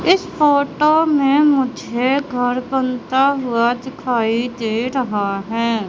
इस फोटो में मुझे घर बनता हुआ दिखाई दे रहा है।